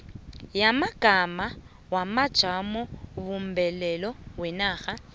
yamagama wamajamobumbeko wenarha